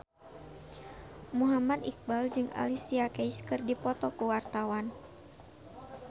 Muhammad Iqbal jeung Alicia Keys keur dipoto ku wartawan